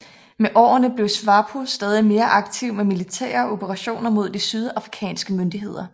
Med årene blev SWAPO stadig mere aktiv med militære operationer mod de sydafrikanske myndigheder